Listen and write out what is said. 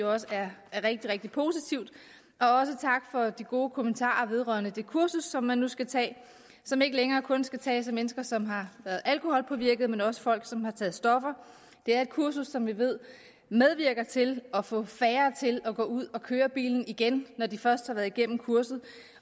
også er rigtig rigtig positivt også tak for de gode kommentarer vedrørende det kursus som man nu skal tage og som ikke længere kun skal tages af mennesker som har været alkoholpåvirket men også af folk som har taget stoffer det er et kursus som vi ved medvirker til at få færre til at gå ud og køre bil igen i når de først har været igennem kurset